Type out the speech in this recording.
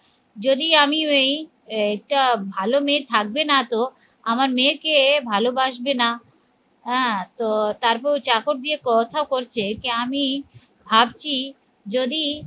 যদি আমি এই এইটা ভালো মেয়ে থাকবে না তো আমার মেয়েকে ভালোবাসবে না আহ হ্যাঁ তো তারপর চাকর দিয়ে কথা করছে যে আমি ভাবছি যদি